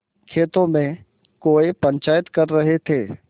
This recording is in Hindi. खेतों में कौए पंचायत कर रहे थे